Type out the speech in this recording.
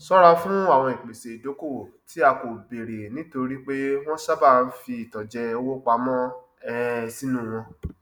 ṣọra fún àwọn ìpese ìdokoowó tí a kò béèrè nítorí pé wọn sábàa ń fi ìtànjẹ owó pamọ um sínú wọn